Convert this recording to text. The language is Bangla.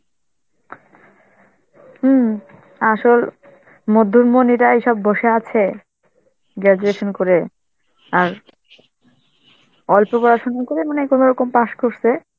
হম আসল মধ্যমনি এরাই সব বসে আছে, graduation করে আর অল্প পড়াশোনা করে মানে কোনরকম pass করসে,